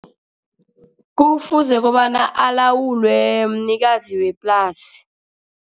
Kufuze kobana alawulwe mnikazi weplasi.